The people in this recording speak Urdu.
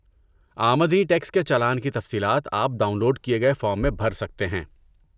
آمدنی ٹیکس کے چالان کی تفصیلات آپ ڈاؤن لوڈ کیے گئے فارم میں بھر سکتے ہیں۔